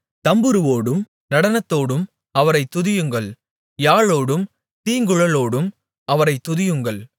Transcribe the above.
தம்புரோடும் நடனத்தோடும் அவரைத் துதியுங்கள் யாழோடும் தீங்குழலோடும் அவரைத் துதியுங்கள்